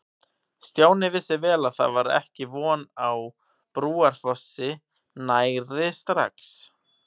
Stjáni vissi vel að það var ekki von á Brúarfossi nærri strax.